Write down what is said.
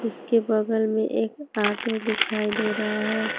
उसके बगल में एक ऑटो दिखाई दे रहा है।